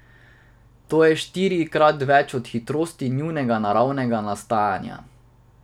To je štirikrat več od hitrosti njunega naravnega nastajanja.